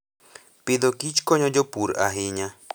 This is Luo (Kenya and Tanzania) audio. Agriculture and Food konyo jopur ahinya.